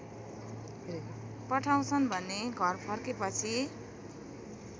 पठाउँछन् भने घरफर्केपछि